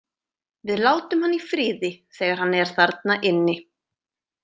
Við látum hann í friði þegar hann er þarna inni.